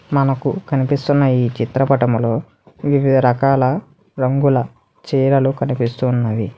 మనకు కనిపిస్తున్న ఈ చిత్రపటంలో వివిధ రకాల రంగుల చీరలు కనిపిస్తున్నది.